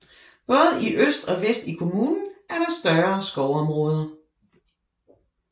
Både i øst og vest i kommunen er der større skovområder